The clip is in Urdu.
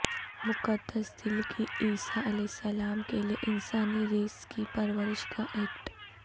مقدس دل کی عیسی علیہ السلام کے لئے انسانی ریس کی پرورش کا ایکٹ